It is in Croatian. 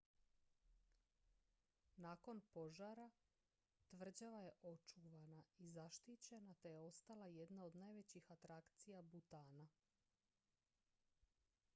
nakon požara tvrđava je očuvana i zaštićena te je ostala jedna od najvećih atrakcija butana